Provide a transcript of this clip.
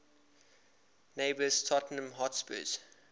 neighbours tottenham hotspur